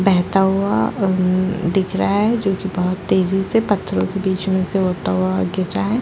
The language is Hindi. बहता हुआ हम्म दिख रहा है जो की बहुत तेजी से पत्थरो के बीच में से होता हुआ गिर रहा है।